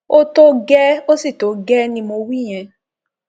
ó tó gẹẹ ó sì tó gẹẹ ni mo wí yẹn